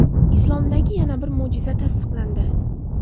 Islomdagi yana bir mo‘jiza tasdiqlandi.